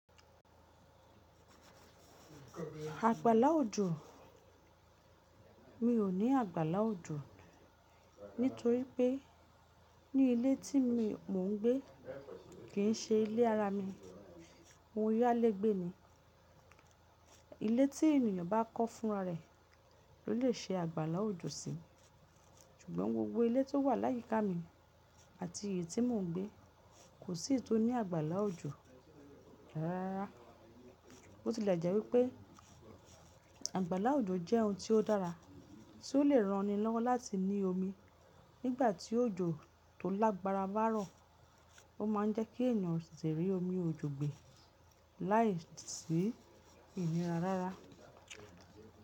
Àgbàlá òjò mi ò ní àgbàlá òjò nítorí pé ní ilé tí mó ń gbé kì í ṣe ilé ara mi. Mo yálégbé ni. Ilé tí ènìyàn bá kọ́ fúnra rẹ̀ ló lè ṣe àgbàlá òjò sí i. Ṣùgbọ́n gbogbo ilé tó wà láyíká mi àti èyí tí mò ń gbé kò sí eyi tó ní àgbàlá òjò rárárara bo ti lè jẹ́ wípé àgbàlá òjò jẹ́ ohun tí ó dára tí ó lè ran ni lọ́wọ́ láti ní omi nígbà tí òjò tó lágbára bá rọ̀. Ó ma ń jẹ́ kí ènìyàn tete rí omi òjò gbe láìsí ìnira rárá.